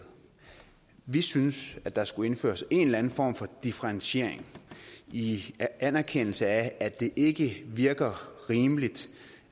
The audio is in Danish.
vi synes at der skulle indføres en eller anden form for differentiering i en anerkendelse af at det ikke virker rimeligt